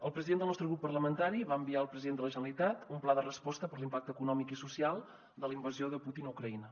el president del nostre grup parlamentari va enviar al president de la generalitat un pla de resposta per l’impacte econòmic i social de la invasió de putin a ucraïna